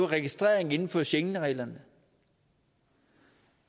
registrering inden for schengenreglerne